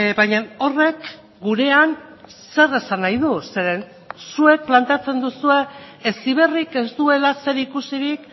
baina horrek gurean zer esan nahi du zeren zuek planteatzen duzue heziberrik ez duela zerikusirik